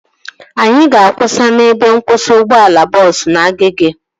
Anyị ga-akwụsị n'ebe nkwụsị ụgbọala bọọsu na Agege